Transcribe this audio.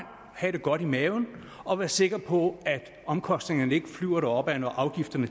have det godt i maven og være sikker på at omkostningerne ikke flyver deropad når afgifterne